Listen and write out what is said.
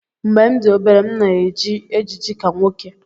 Mgbe m dị obere, m na-eji ejiji ka nwoke